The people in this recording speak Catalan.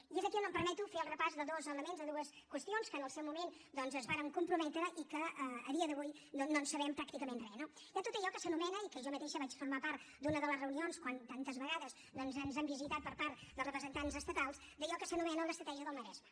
i és aquí on em permeto fer el repàs de dos elements de dues qüestions que en el seu moment doncs es varen comprometre i que a dia d’avui no en sabem pràcticament res no hi ha tot allò que s’anomena i que jo mateixa vaig formar part d’una de les reunions quan tantes vegades doncs ens han visitat per part dels representants estatals d’allò que s’anomena l’ estratègia del maresme